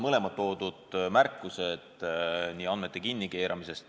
Nüüd teie märkused, kõigepealt andmete kinnikeeramine.